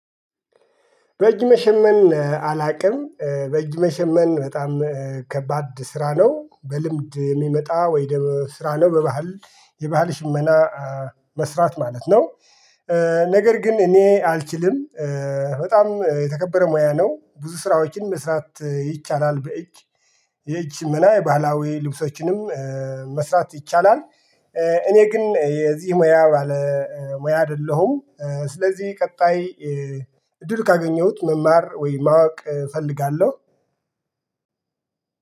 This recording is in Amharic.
በእጅ መሸመን አላውቅም በእጅ መሸመን በጣም ከባድ ስራ ነው በልምድ የሚመጣ ወይ ስራ ነው በባህል የባህል ሽመና መስራት ማለት ነው። ነገር ግን እኔ አልችልም። በጣም የተከበረ ሙያ ነው ብዙ ስራዎችን መስራት ይቻላል በእጅ የእጅ ሽመና የባህላዊ ልብሶችንም መስራት ይቻላል። እኔ ግን የዚህ ሙያ ባለ ሙያ አይደለሁም። ስለዚህ ቀጣይ እድሉን ካገኘሁት መማር ወይ ማወቅ እፈልጋለሁ